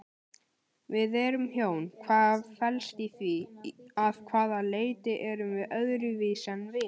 Við erum hjón, hvað felst í því, að hvaða leyti erum við öðruvísi en vinir?